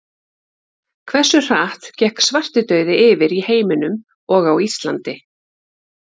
Hversu hratt gekk svartidauði yfir í heiminum og á Íslandi?